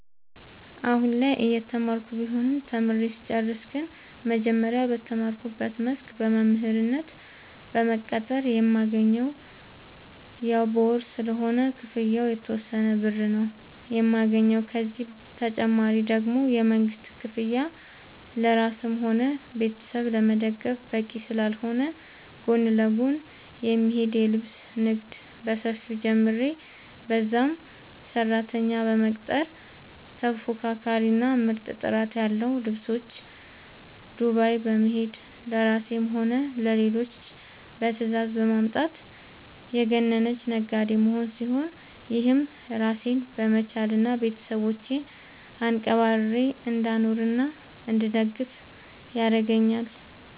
አሁላይ እየተማርኩ ቢሆንም ተምሬ ስጨርስ ግን መጀመሪያ በተማርኩበት መስክ በመምህርነት በመቀጠር የማገኘውም ያው በወር ስለሆነ ክፍያው የተወሰነ ብር ነው የማገኘው፤ ከዚህ ተጨማሪ ደግሞ የመንግስት ክፍያ ለራስም ሆነ ቤተሰብ ለመደገፍ በቂ ስላልሆነ ጎን ለጎን የሚሄድ የልብስ ንግድ በሰፊው ጀምሬ በዛም ሰራተኛ በመቅጠር ተፎካካሪ እና ምርጥ ጥራት ያለው ልብሶች ዱባይ በመሄድ ለራሴም ሆነ ለሌሎች በትዛዝ በማምጣት የገነነች ነጋዴ መሆን ሲሆን፤ ይህም ራሴን በመቻል እና ቤተሰቦቼን አንቀባርሬ እንዳኖርናእንድደግፍ ያረገአኛል።